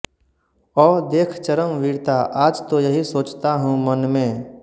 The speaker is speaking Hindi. औ देख चरम वीरता आज तो यही सोचता हूं मन में